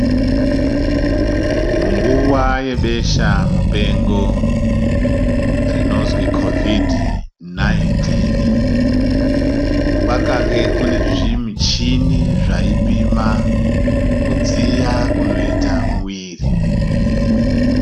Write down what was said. Munguva yebeshamupengo rinozwi Kovhidhi-19 kwakange kune zvimichini zvaipima kudziya kunoita mwiri.